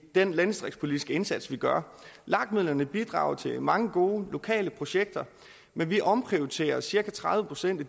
den landdistriktspolitiske indsats vi gør lag midlerne bidrager til mange gode lokale projekter men vi omprioriterer cirka tredive procent af